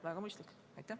Väga mõistlik!